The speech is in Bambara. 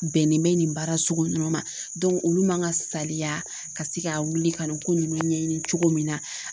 Bɛnnen bɛ nin baara sugu ninnu ma olu man ka saliya ka se ka wuli ka nin ko ninnu ɲɛɲini cogo min na